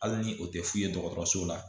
Hali ni o tɛ f'u ye dɔgɔtɔrɔso la